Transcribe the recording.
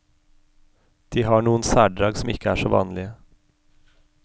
De har noen særdrag som ikke er så vanlige.